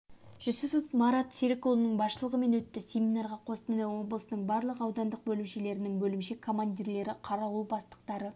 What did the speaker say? жүсіпов марат серікұлының басшылығымен өтті семинарға қостанай облысының барлық аудандық бөлімшелерінің бөлімше командирлері қарауыл бастықтары